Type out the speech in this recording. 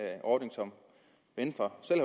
ordning som venstre selv